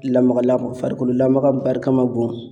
Lamaga lagama , farikolo lamaga barika ma bon.